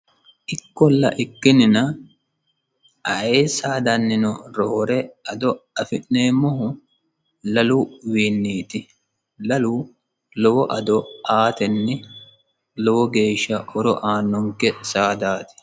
ikkolla ikkinina ayee saadannino roore ado afi'neemmohu laluwiinniiti, lalu lowo ado aatenni lowo geeshsha horo aannonke saadaati.